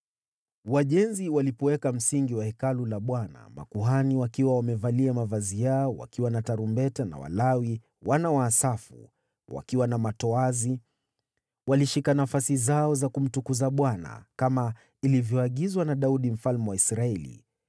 Wajenzi walipoweka msingi wa Hekalu la Bwana , makuhani wakiwa wamevalia mavazi yao wakiwa na tarumbeta na Walawi (wana wa Asafu) wakiwa na matoazi, walishika nafasi zao za kumtukuza Bwana , kama ilivyoagizwa na Daudi mfalme wa Israeli.